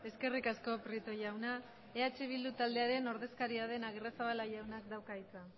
eskerrik asko prieto jauna eh bildu taldearen ordezkaria den agirrezabala jaunak dauka hitza